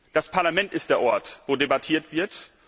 Das Parlament ist der Ort, wo debattiert wird.